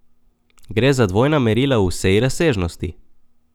Gre za dvojna merila v vsej razsežnosti?